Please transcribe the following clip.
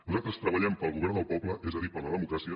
nosaltres treballem pel govern del poble és a dir per la democràcia